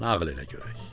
Nağıl elə görək.